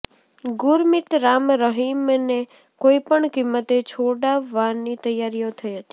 ગુરમીત રામ રહીમને કોઇ પણ કિંમતે છોડાવવાની તૈયારીઓ થઇ હતી